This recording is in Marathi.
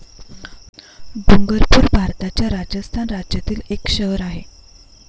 डुंगरपूर भारताच्या राजस्थान राज्यातील एक शहर आहे.